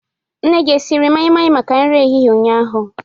Nne gị esiriri mai-mai maka nri ehihie ụnyaahụ?